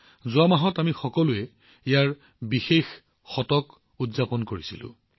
যোৱা মাহত আমি সকলোৱে ইয়াৰ বিশেষ শতিকা উদযাপন কৰিছো